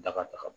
Daga taga